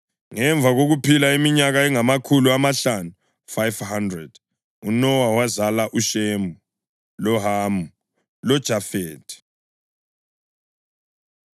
Ngemva kokuphila iminyaka engamakhulu amahlanu (500), uNowa wazala uShemu, loHamu loJafethi.